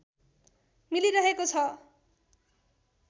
मिलिरहेको छ